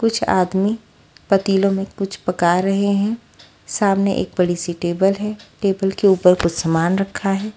कुछ आदमी पतीलों में कुछ पका रहे हैं सामने एक बड़ी सी टेबल है टेबल के ऊपर कुछ सामान रखा है।